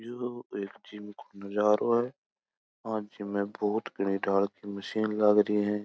ये एक जिम को नजारो है और इसमें बहुत घनी ढाल मशीन लग रही है।